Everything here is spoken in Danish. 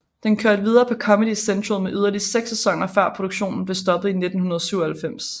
Den kørte videre på Comedy Central med yderligere seks sæsoner før produktionen blev stoppet i 1997